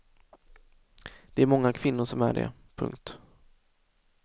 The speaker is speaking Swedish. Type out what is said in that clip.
Det är många kvinnor som är det. punkt